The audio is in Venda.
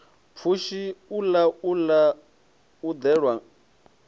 pfushi u laula u ḓelwa